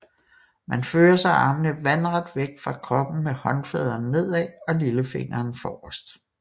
Man fører så armene vandret væk fra kroppen med håndfladerne nedad og lillefingrene forrest